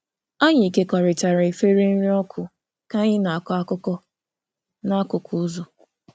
Anyị kekọrịtara efere nri ọkụ ka anyị na-akọ akụkọ n'akụkụ ụzọ.